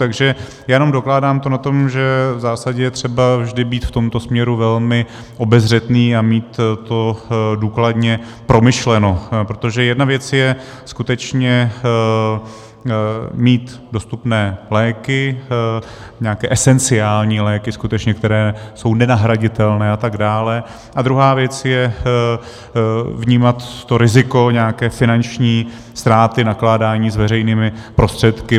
Takže já jenom dokládám to na tom, že v zásadě je třeba vždy být v tomto směru velmi obezřetný a mít to důkladně promyšleno, protože jedna věc je skutečně mít dostupné léky, nějaké esenciální léky skutečně, které jsou nenahraditelné a tak dále, a druhá věc je vnímat to riziko nějaké finanční ztráty, nakládání s veřejnými prostředky.